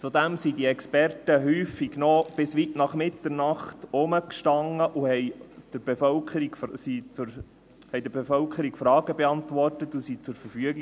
Zudem beantworteten die Experten häufig noch bis weit nach Mitternacht Fragen der Bevölkerung und standen zur Verfügung.